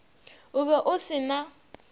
o be o se na